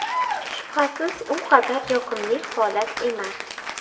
Shubhasiz bu u qadar yoqimli holat emas.